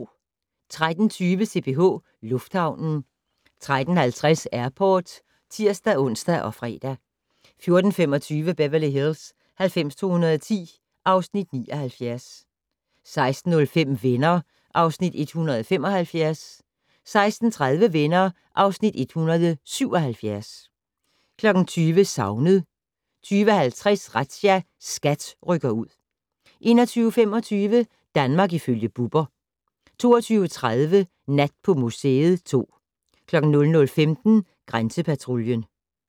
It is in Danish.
13:20: CPH Lufthavnen 13:50: Airport (tir-ons og fre) 14:25: Beverly Hills 90210 (Afs. 79) 16:05: Venner (Afs. 175) 16:30: Venner (Afs. 177) 20:00: Savnet 20:50: Razzia - SKAT rykker ud 21:25: Danmark ifølge Bubber 22:30: Nat på museet 2 00:15: Grænsepatruljen